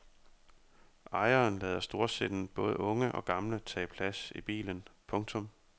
Ejeren lader storsindet både unge og gamle tage plads i bilen. punktum